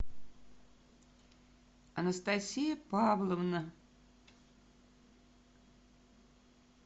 анастасия павловна